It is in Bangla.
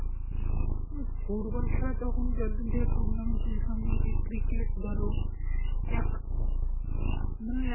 হম football খেলা তখন যখন থেকে tournament চলছে আমরা সেই cricket ধরো এখ~ মানে